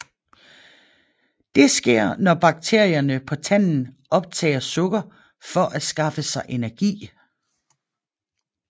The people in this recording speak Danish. Det sker når bakterierne på tanden optager sukker for at skaffe sig energi